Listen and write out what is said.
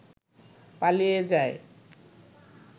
পালিয়ে যায়।